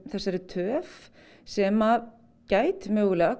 þessari töf sem gæti mögulega